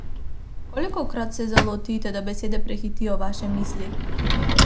Kolikokrat se zalotite, da besede prehitijo vaše misli?